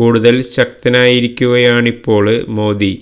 കൂടുതല് ശക്തനായിരിക്കുകയാണിപ്പോള് മോദി